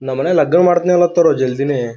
ನಮ ಮನ್ಯಾಗ ಲಗ್ನ ಮಾಡ್ತಿನಿ ಅನ್ಲಾತಾರೊ ಜಲ್ದಿನೆ.